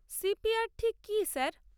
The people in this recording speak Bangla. সি.পি.আর ঠিক কি স্যার?